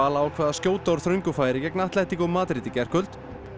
ákvað að skjóta úr þröngu færi gegn Madrid í gærkvöld